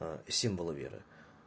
символы веры